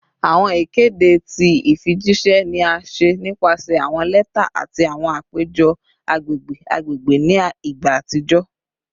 Awọn ikede ti ifijiṣẹ ni a ṣe nipasẹ awọn lẹta ati awọn apejọ agbegbe agbegbe ni igba atijọ